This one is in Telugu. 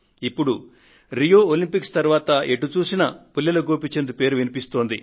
ఇప్పుడు రియో ఒలంపిక్స్ తరువాత ఎటు చూసినా పుల్లెల గోపీచంద్ పేరు వినిపిస్తోంది